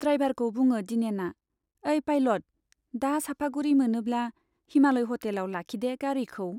ड्राइभारखौ बुङो दिनेना, ऐ पाइलट, दा सापागुरी मोनोब्ला हिमालय हटेलाव लाखिदे गारिखौ।